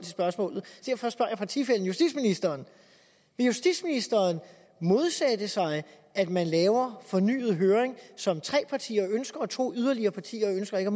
spørgsmålet derfor spørger jeg partifællen justitsministeren vil justitsministeren modsætte sig at man laver en fornyet høring som tre partier ønsker og to yderligere partier ønsker ikke